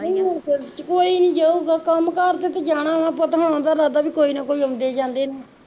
ਕੋਈ ਨੀ ਜਾਊਗਾ ਕੰਮ ਕਰ ਤੇ ਜਾਣਾ ਵਾ ਪੁੱਤ ਆਉਣ ਦਾ ਇਰਾਦਾ ਕੋਈ ਨਾ ਕੋਈ ਆਉਂਦੇ ਜਾਂਦੇ ਨੂੰ